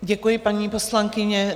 Děkuji, paní poslankyně.